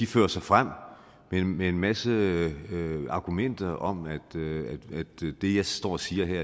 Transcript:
fører sig frem med en masse argumenter om at det jeg står og siger her